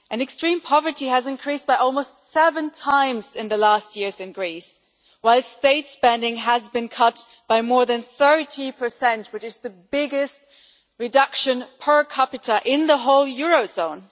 Extreme poverty has increased by almost seven times in the last years in Greece while state spending has been cut by more than 30, which is the biggest reduction per capita in the whole Eurozone.